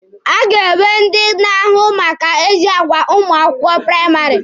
A ga-enwe ndị na-ahụ maka ezi agwa ụmụ akwụkwọ praịmarị.